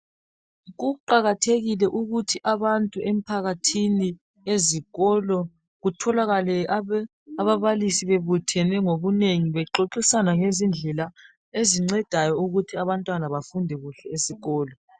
Kuqakathekile ukuthi abantu emphakathini ezikolo kutholakale ababalisi bebuthene ngobunengi bexoxisana ngezindlela ezincedayo ukuthi abantwana bafunde kuhle esikolo